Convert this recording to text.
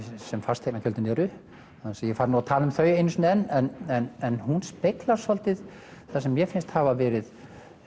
sem fasteignagjöldin eru án þess að ég fari að tala um þau einu sinni enn en hún speglar svolítið sem mér finnst hafa verið